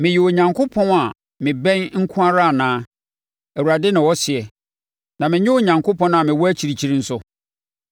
“Meyɛ Onyankopɔn a mebɛn nko ara anaa,” Awurade na ɔseɛ, “na mennyɛ Onyankopɔn a mewɔ akyirikyiri nso?